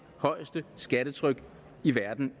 højeste skattetryk i verden